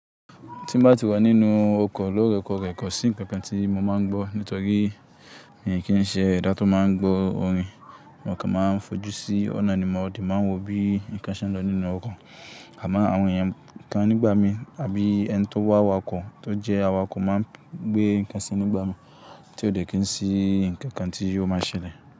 Tí ń bá ti wà nínú oko ló rẹ̀kọ̀rẹ̀ kọ̀ sí ǹkan kan tí mo máa ń gbọ́. Nítorí mi kì í ṣe ẹ̀dá tó máa ń gbọ́ orin, mo kàn máa ń fojú sí ọ̀nà ni mòde máa ń wo bí ǹkan ṣe ń lọ nínú oko. Àmon àwọn èèyàn kan nígbà mi àbí ẹni tó wà wà okọ̀ tó jẹ́ awakọ̀ máa ń gbé ǹkan sí nígbà mi tí ó dé kí ń rí ǹkan kan tí yóò máa ṣẹlẹ̀